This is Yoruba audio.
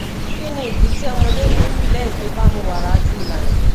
kí nìdí tí ọmọdé fi ń bi lẹyìn tó bá mu wàrà tí ilana